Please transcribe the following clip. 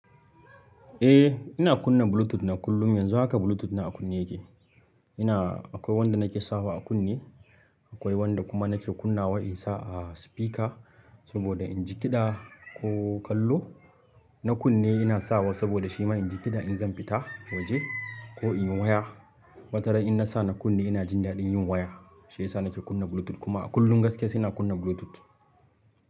Eh, ina kunna Bluetooth na kullum. Yanzu haka Bluetooth na a kunne yake. Ina akwai wanda nake sawa a kunne, akwai wanda kuma nake kunna wa in sa a spika saboda in ji kiɗa ko kallo. Na kunne ina sawa saboda shi ma in ji kiɗa in zan fita waje ko in yi waya. Wata ran in nasa na kunne ina jin daɗin yin waya. Shi yasa nake kunna Bluetooth kuma a kullum gaskiya sai na kunna Bluetooth.